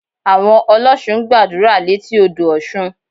Àwọn ọlọ́ṣun ń gbàdúrà létí odò Ọ̀ṣun